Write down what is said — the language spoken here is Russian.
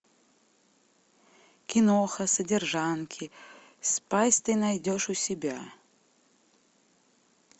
киноха содержанки спайс ты найдешь у себя